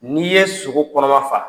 N'i ye sogo kɔnɔma faa.